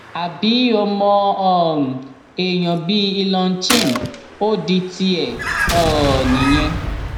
àbí ọmọ um èèyàn bíi elon chim ò di tiẹ um nìyẹn